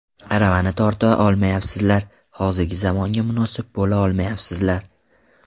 Aravani torta olmayapsizlar, hozirgi zamonga munosib bo‘la olmayapsizlar.